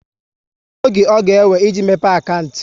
Kedụ oge ọ ga ewe, e ji mepe akantị?